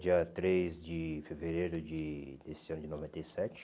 Dia três de fevereiro de desse ano de noventa e sete